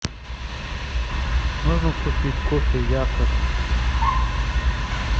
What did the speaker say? можно купить кофе якобс